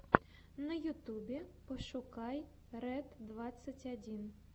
на ютубе пошукай ред двадцать один